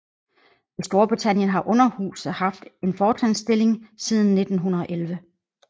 I Storbritannien har underhuset haft en fortrinsstilling siden 1911